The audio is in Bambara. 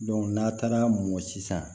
n'a taara mɔ sisan